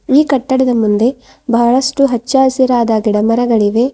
ಈ ಕಟ್ಟಡದ ಮುಂದೆ ಬಹಳಷ್ಟು ಹಚ್ಚ ಹಸಿರಾದ ಗಿಡ ಮರಗಳಿವೆ.